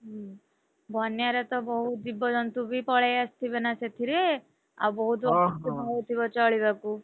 ହୁଁ ବନ୍ୟାରେ ତ ବହୁତ୍‌ ଜୀବଜନ୍ତୁ ବି ପଳେଈ ଆସିଥିବେ ନା ସେଥିରେ? ଆଉ ବହୁତ୍ ଅସୁବିଧା ବି ହଉଥିବ ଚଳିବାକୁ?